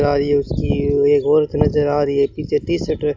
अरे उसकी एक औरत नजर आ रही है पीछे टी शर्ट में --